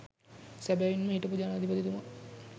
සැබැවින්ම හිටපු ජනාධිපතිතුමා